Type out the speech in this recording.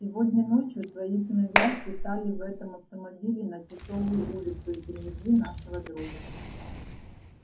сегодня ночью твои сыновья слетали в этом автомобиле на тисовую улицу и привезли нашего друга